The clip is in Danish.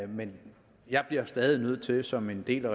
men jeg bliver stadig nødt til som en del af